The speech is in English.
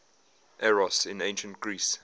eros in ancient greece